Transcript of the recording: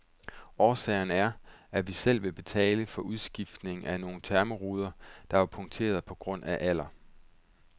Årsagen er, at vi selv vil betale for udskiftningen af nogle thermoruder, der var punkterede på grund af alder.